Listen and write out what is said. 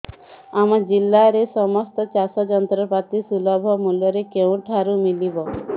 ଆମ ଜିଲ୍ଲାରେ ସମସ୍ତ ଚାଷ ଯନ୍ତ୍ରପାତି ସୁଲଭ ମୁଲ୍ଯରେ କେଉଁଠାରୁ ମିଳିବ